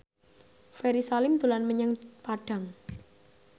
Ferry Salim dolan menyang Padang